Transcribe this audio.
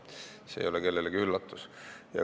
See ei ole kellelegi üllatus.